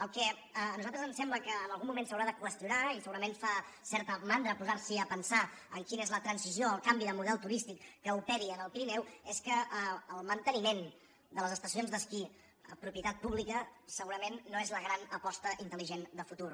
el que a nosaltres ens sembla que en algun moment s’haurà de qüestionar i segurament fa certa mandra posar se a pensar en quina és la transició el canvi de model turístic que operi en el pirineu és que el manteniment de les estacions d’esquí propietat pública segurament no és la gran aposta intel·ligent de futur